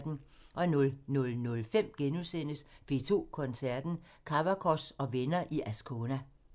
00:05: P2 Koncerten – Kavakos og venner i Ascona *